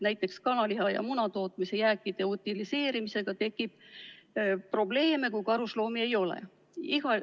Näiteks kanaliha- ja munatootmise jääkide utiliseerimisega tekib probleeme, kui karusloomi ei ole.